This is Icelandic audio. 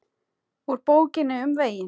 Úr Bókinni um veginn